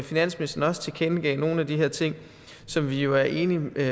finansministeren også tilkendegav nogle af de her ting som vi jo er enige med